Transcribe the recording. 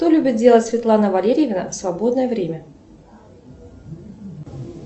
что любит делать светлана валерьевна в свободное время